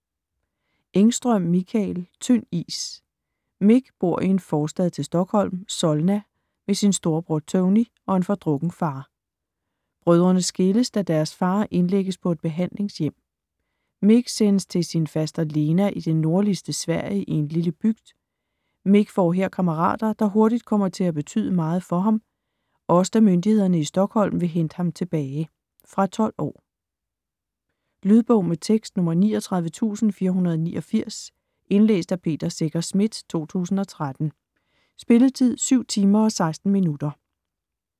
Engström, Mikael: Tynd is Mik bor i en forstad til Stockholm, Solna, med sin storebror, Tony, og en fordrukken far. Brødrene skilles, da deres far indlægges på et behandlingshjem. Mik sendes til sin Faster Lena i det nordligste Sverige en lille bygd. Mik får her kammerater, der hurtigt kommer til at betyde meget for ham, også da myndighederne i Stockholm vil hente ham tilbage. Fra 12 år. Lydbog med tekst 39489 Indlæst af Peter Secher Schmidt, 2013. Spilletid: 7 timer, 16 minutter.